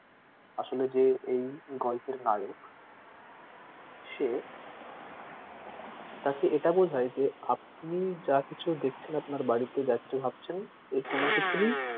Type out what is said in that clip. আসলে যে এই গল্পের নায়ক সে তাকে এটা বোঝাই যে আপনি যা কিছু দেখছেন আপনার বাড়িতে যা কিছু ভাবছেন এর কোনো কিছুরই,